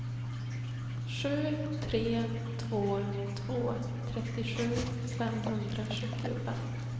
sju tre två två trettiosju femhundrasjuttiofem